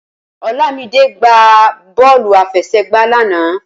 Olamide gbá bọ́ọ̀lù àfẹsẹ̀gba lánàá